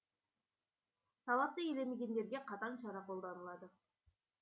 талапты елемегендерге қатаң шара қолданылады